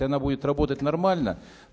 и она будет работать нормально